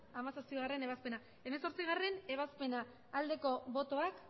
hamazazpigarrena ebazpena hemezortzigarrena ebazpena aldeko botoak